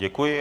Děkuji.